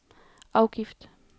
afgift